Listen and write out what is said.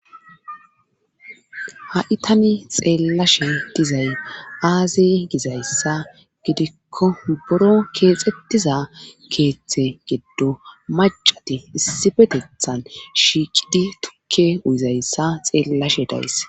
ha7i tani xeellashe dizay aaziy gizayssa gidikko buro keexettiza keeththe geddo macati issipetethan shiiqidi tukke uyizayssa xeellashe days